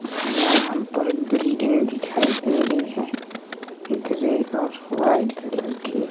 यहां पर बिल्डिंग दिखाई दे रही है ग्रे और व्हाईट कलर की।